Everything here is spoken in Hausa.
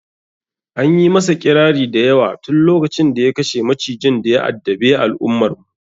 Anyi masa ƙirari da yawa tun lokacin da ya kashe macijin daya addabe al'ummar mu